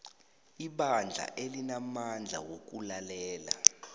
ibandla alinamandla wokulalela